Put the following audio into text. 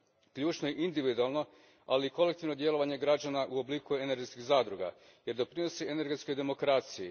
Ključno je individualno, ali i kolektivno djelovanje građana u obliku energetskih zadruga, jer doprinosi energetskoj demokraciji.